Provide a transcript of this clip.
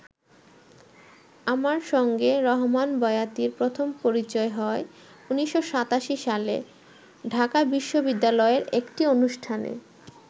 আমার সঙ্গে রহমান বয়াতির প্রথম পরিচয় হয় ১৯৮৭ সালে ঢাকা বিশ্ববিদ্যালয়ের একটি অনুষ্ঠানে।